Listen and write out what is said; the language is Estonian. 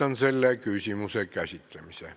Lõpetan selle küsimuse käsitlemise.